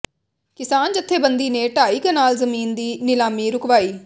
ਕਿਸਾਨ ਜਥੇਬੰਦੀ ਨੇ ਢਾਈ ਕਨਾਲ ਜ਼ਮੀਨ ਦੀ ਨਿਲਾਮੀ ਰੁਕਵਾਈ